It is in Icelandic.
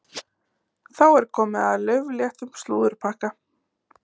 Þá er komið að laufléttum slúðurpakka.